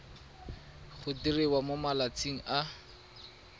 go diriwa mo malatsing a